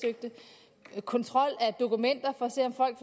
at kontrol af dokumenter for at